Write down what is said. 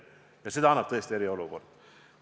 Selle võimaluse annab tõesti eriolukord.